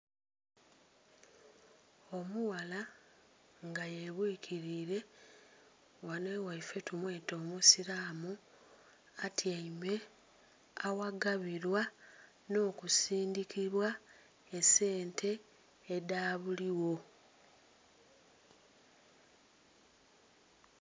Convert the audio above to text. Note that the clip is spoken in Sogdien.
Omughala nga yebwikirire, ghano eghaife to mweta omweta omusilamu, atyaime aghagabilwa nokusindhikibwa esente edhabuligho.